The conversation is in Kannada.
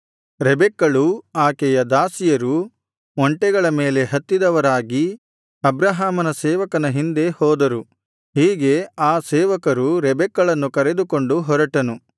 ರೆಬೆಕ್ಕಳೂ ಆಕೆಯ ದಾಸಿಯರೂ ಒಂಟೆಗಳ ಮೇಲೆ ಹತ್ತಿದವರಾಗಿ ಅಬ್ರಹಾಮನ ಸೇವಕನ ಹಿಂದೆ ಹೋದರು ಹೀಗೆ ಆ ಸೇವಕರು ರೆಬೆಕ್ಕಳನ್ನು ಕರೆದುಕೊಂಡು ಹೊರಟನು